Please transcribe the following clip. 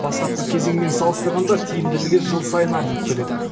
бастапқы кезеңмен салыстырғанда тиімділігі жыл сайын артып келеді